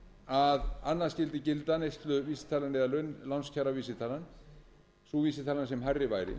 að annað skyldi gilda neysluvísitalan eða lánskjaravísitalan sú vísitalan sem hærri væri